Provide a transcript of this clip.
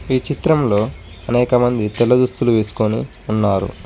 ఈ చిత్రంలో అనేకమంది తెల్ల దుస్తులు వేసుకొని ఉన్నారు.